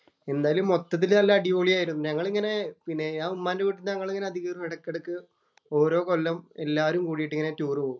എന്തായാലും മൊത്തത്തിൽ നല്ല അടിപൊളി ആയിരുന്നു. ഞങ്ങളിങ്ങനെ പിന്നെ ഞാന്‍ ഉമ്മാന്‍റെ വീടിന്‍റെ ഞങ്ങള് ഇങ്ങനെ എടയ്ക്കിടയ്ക്ക്‌ ഓരോ കൊല്ലം എല്ലാരും കൂടിയിട്ട് ഇങ്ങനെ ടൂറ് പോകും.